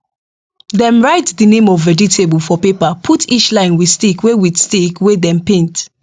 dem write the name of vegetable for paper put each line with stick wey with stick wey dem paint